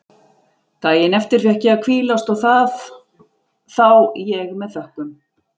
Daginn eftir fékk ég að hvílast og það þá ég með þökkum.